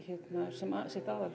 sem sitt aðal